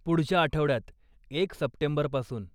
पुढच्या आठवड्यात, एक सप्टेंबरपासून